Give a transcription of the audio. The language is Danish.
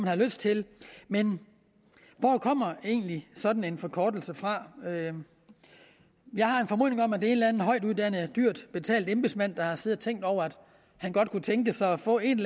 har lyst til men hvor kommer egentlig sådan en forkortelse fra jeg har en formodning om at det er en eller anden højtuddannet og dyrt betalt embedsmand der har siddet og tænkt over at han godt kunne tænke sig at få et